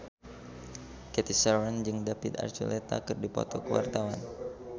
Cathy Sharon jeung David Archuletta keur dipoto ku wartawan